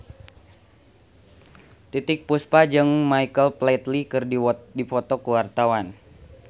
Titiek Puspa jeung Michael Flatley keur dipoto ku wartawan